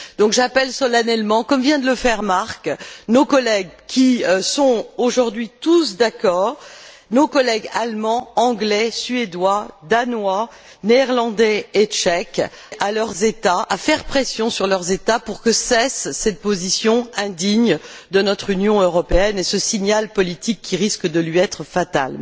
Donc, j'appelle solennellement comme vient de le faire Marc nos collègues, qui sont aujourd'hui tous d'accord, nos collègues allemands, anglais, suédois, danois, néerlandais et tchèques, à faire pression sur leurs États pour que cesse cette position indigne de notre Union européenne, ce signal politique qui risque de lui être fatal.